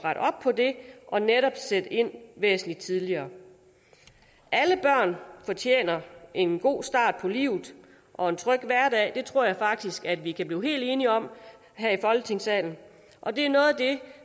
på det og netop sætte ind væsentligt tidligere alle børn fortjener en god start på livet og en tryg hverdag det tror jeg faktisk at vi kan blive helt enige om her i folketingssalen og det er noget af det